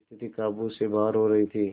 स्थिति काबू से बाहर हो रही थी